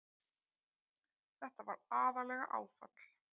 Þetta var aðallega áfall.